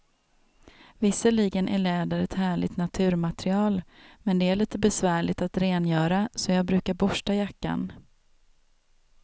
Visserligen är läder ett härligt naturmaterial, men det är lite besvärligt att rengöra, så jag brukar borsta jackan.